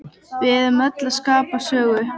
Við erum öll að skapa sögu.